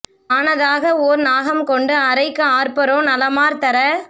நாணதாக ஓர் நாகம் கொண்டு அரைக்கு ஆர்ப்பரோ நலமார் தர